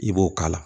I b'o k'a la